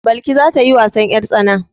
Balki za ta yi wasan 'yartsana.